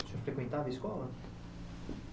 O senhor frequentava a escola?